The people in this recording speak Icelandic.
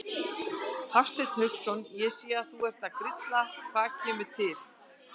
Hafsteinn Hauksson: Ég sé að þú ert að grilla, hvað kemur til?